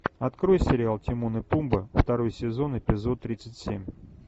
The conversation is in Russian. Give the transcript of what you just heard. открой сериал тимон и пумба второй сезон эпизод тридцать семь